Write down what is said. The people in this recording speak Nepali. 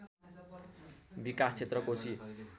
विकास क्षेत्र कोशी